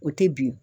O tɛ bin